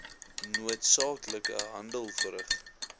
noodsaaklike handeling verrig